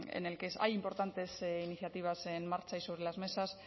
en el que hay importantes iniciativas en marcha y sobre las mesas